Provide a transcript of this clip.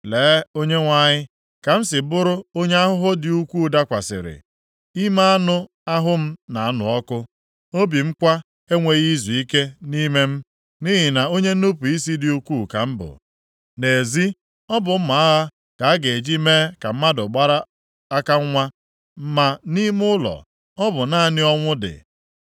“Lee, Onyenwe anyị, ka m si bụrụ onye ahụhụ dị ukwuu dakwasịrị. Ime anụ ahụ m na-anụ ọkụ, obi m kwa enweghị izuike nʼime m nʼihi na onye nnupu isi dị ukwuu ka m bụ. Nʼezi, ọ bụ mma agha ka a ga-eji mee ka mmadụ gbara aka nwa. Ma nʼime ụlọ, ọ bụ naanị ọnwụ dị ya.